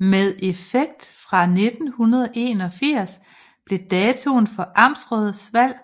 Med effekt fra 1981 blev datoen for amtsrådsvalg